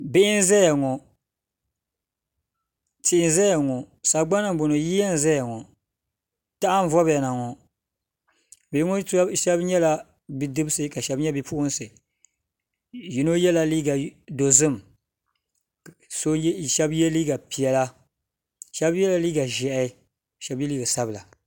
Bihi n-zaya ŋɔ tia n-zaya ŋɔ sagbana m-bɔŋɔ yiya n-zaya ŋɔ taha n-vɔbiya na ŋɔ bihi ŋɔ shɛba nyɛla bidibisi ka shɛba nyɛ bipuɣinsi yino yɛla liiga dɔzim ka shɛba ye liiga piɛla shɛba yɛla liiga ʒɛhi shɛba yɛla liiga sabila